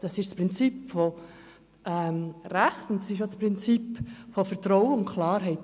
Das ist das Prinzip von Recht, und es ist auch das Prinzip von Vertrauen und Klarheit.